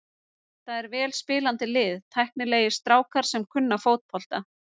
Þetta er vel spilandi lið, tæknilegir strákar sem kunna fótbolta.